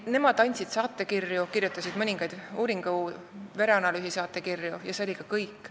Nemad andsid saatekirju, kirjutasid mõningaid uuringu-, vereanalüüsisaatekirju ja see oli kõik.